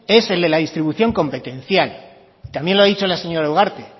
es el de la distribución competencial y también lo ha dicho la señora ugarte